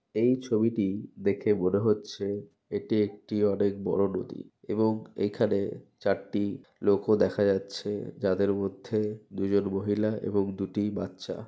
এই ছবিটি দেখে মনে হচ্ছে এটি একটি অনেক বড়ো নদী এবং এখানে চারটি লোকও দেখা যাচ্ছে যাদের মধ্যে দুজন মহিলা এবং দুটি বাচ্চা।